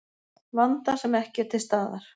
Vanda sem ekki er til staðar